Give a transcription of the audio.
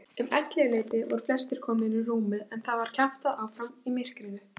Um ellefuleytið voru flestir komnir í rúmið en það var kjaftað áfram í myrkrinu.